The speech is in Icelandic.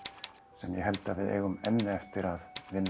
sem ég held að við eigum enn eftir að vinna